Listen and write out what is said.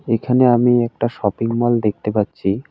এখানে আমি একটা শপিংমল দেখতে পাচ্ছি।